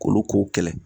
Olu ko kɛlɛ